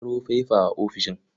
A ƙaro faifa a ofishin.